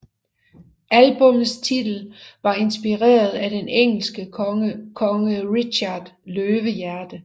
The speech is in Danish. Albummets titel var inspireret af den engelske konge Richard Løvehjerte